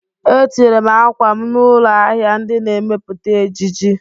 Etinyere m akwa m n'ụlọ ahịa ndị na-emepụta ejiji